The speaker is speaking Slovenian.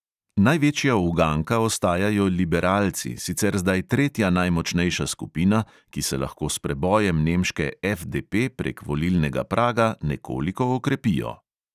Največja uganka ostajajo liberalci, sicer zdaj tretja najmočnejša skupina, ki se lahko s prebojem nemške FDP prek volilnega praga nekoliko okrepijo.